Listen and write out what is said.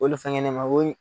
O le fɛngɛ ne ma o